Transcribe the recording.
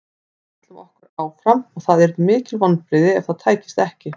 Við ætlum okkur áfram og það yrðu mikil vonbrigði ef það tækist ekki.